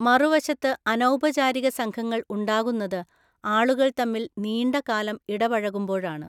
മറുവശത്ത് അനൗപചാരിക സംഘങ്ങൾ ഉണ്ടാകുന്നത് ആളുകൾ തമ്മിൽ നീണ്ട കാലം ഇടപഴകുമ്പോഴാണ്.